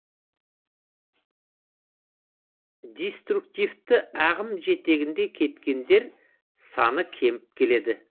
диструктивті ағым жетегінде кеткендер саны кеміп келеді